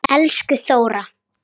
Elsku Þóra.